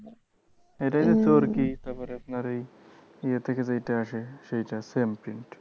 এটাই তো চোরকি তারপর আপনারই এই ইয়ে থেকে যেইটা আসে সেইটা same print